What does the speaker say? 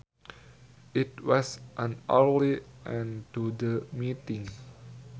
It was an early end to the meeting